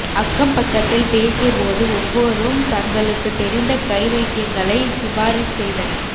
அக்கம் பக்கத்தில் பேசிய போது ஒவ்வொரும் தங்களுக்கு தெரிந்த கை வைத்தியங்களை சிபாரிசு செய்தனர்